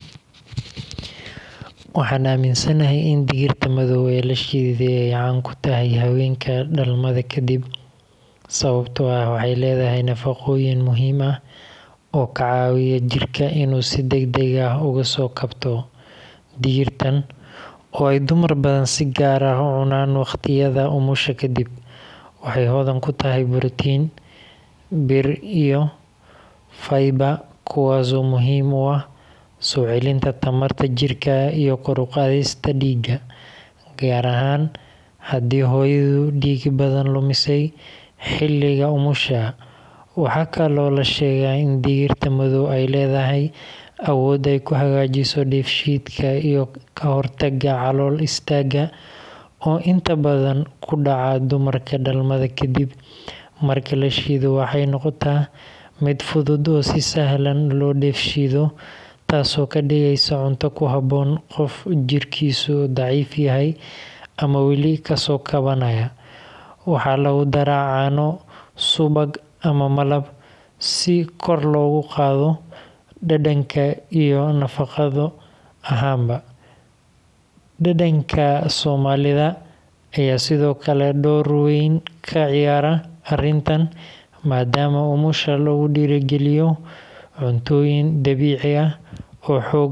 Waxaan aaminsanahay in digirta madow ee la shiiday ay caan ku tahay haweenka dhalmada kadib sababtoo ah waxay leedahay nafaqooyin muhiim ah oo ka caawiya jidhka inuu si degdeg ah uga soo kabto. Digirtan, oo ay dumar badan si gaar ah u cunaan waqtiyada umusha kadib, waxay hodan ku tahay borotiin, bir, iyo fiber, kuwaas oo muhiim u ah soo celinta tamarta jidhka iyo kor u qaadista dhiigga, gaar ahaan haddii hooyadu dhiig badan lumisay xilliga umusha. Waxaa kaloo la sheegaa in digirta madow ay leedahay awood ay ku hagaajiso dheefshiidka iyo ka hortagga calool istaagga oo inta badan ku dhaca dumarka dhalmada ka dib. Marka la shiido, waxay noqotaa mid fudud oo si sahlan loo dheefshiido, taasoo ka dhigaysa cunto ku habboon qof jidhkiisu daciif yahay ama weli kasoo kabanaya. Waxaa lagu darraa caano, subag, ama malab, si kor loogu qaado dhadhanka iyo nafaqo ahaanba. Dhaqanka Soomaalida ayaa sidoo kale door weyn ka ciyaara arrintan, maadaama umusha lagu dhiirrigeliyo cuntooyin dabiici ah oo xoog.